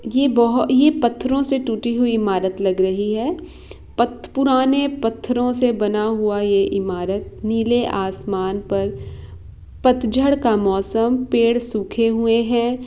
ये बोहो-ये पत्थरो से टूटी हुई इमारत लग रही है। पत्-पुराने पत्थरो से बना हुआ ये इमारत नीले आसमान पर पतझड़ का मौसम पेड़ सूखे हुए हैं।